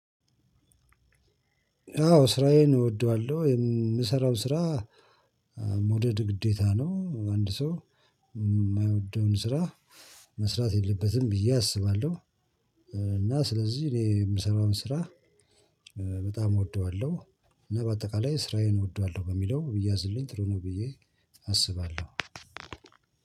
አዎ ስራዬን እወደዋለሁ የምሰራው ስራ መውደድ ግዴታ ነው አንድ ሰው የማይወደውን ስራ መስራት የለበትም ብዬ አስባለሁ። እና ስለዚህ እኔ የምሰራውን ስራ በጣም እወደዋለሁ። እና በአጠቃላይ ስራዬን እወደዋለሁ በሚለው ቢያዝልኝ ጥሩ ብዬ አስባለሁ።